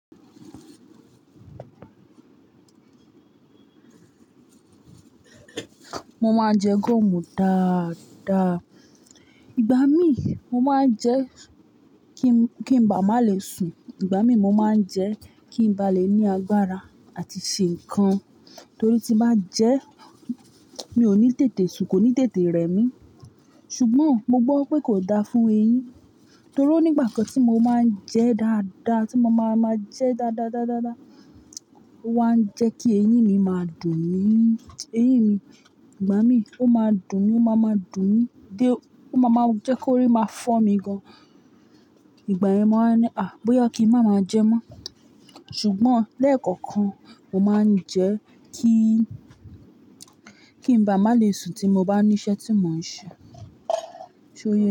Mo máa ń jẹ gúọ̀mù dáadáa. Ìgbà mí mo máa ń jẹ́ kí, kí ń ba má lè sùn. Ìgbà mí mo máa ń jẹ́ kí ń ba lè ní agbára àti ṣe nǹkan. Torí tí máa ń jẹ́, mi ò ní tètè sùn, kò ní tètè rẹ mí. Ṣùgbọ́n mo gbọ́ pé kò da fún eyín. Torí o nígbà kan tí mo máa ń jẹ dáadáa, tí mo máa máa jẹ dáadáadáadáa, ó wá ń jẹ́ kí eyín mi máa dùn mí. Eyín mi, ìgbà mí ó máa dùn mí, ó máa máa dùn mí dé ó máa máa jẹ́ kó rí máa fọ́ mi gan. Ìgbà yẹn mó wáa ń ní, "à! Bóyá kí ń má máa jẹ mọ́." Ṣùgbọ́n lẹ́ẹ̀kọ̀kan, mo máa ń jẹ́ kí, kí ń ba má lè sùn tí mo bá ní iṣẹ́ tí mò ń ṣe. Ṣé o yẹ?